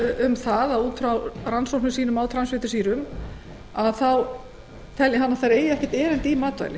segir að út frá rannsóknum sínum á transfitusýrum sé ljóst að þær eigi ekkert erindi í matvæli